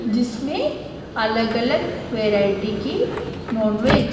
जिसमें अलग अलग वैरायटी की नॉनवेज --